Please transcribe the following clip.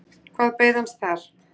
Hvað beið hans þar?